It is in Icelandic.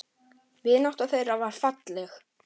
Vinátta þeirra var falleg.